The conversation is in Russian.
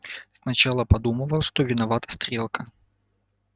сначала подумывал что виноват стрелка